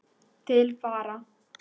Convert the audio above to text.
Til vara